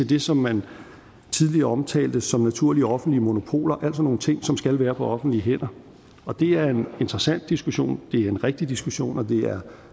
det som man tidligere omtalte som naturlige offentlige monopoler altså nogle ting som skal være på offentlige hænder det er en interessant diskussion og det er en rigtig diskussion og det er